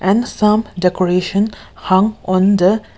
and some decoration how and the--